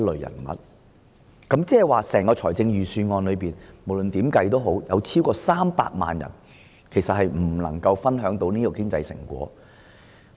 意思是，不論如何計算，超過300萬人未能夠透過預算案分享經濟成果。